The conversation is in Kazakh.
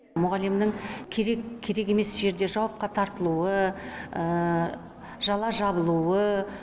мұғалімнің керек керек емес жерде жауапқа тартылуы жала жабылуы